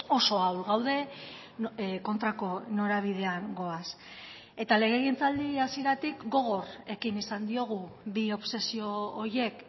oso ahul gaude kontrako norabidean goaz eta legegintzaldi hasieratik gogor ekin izan diogu bi obsesio horiek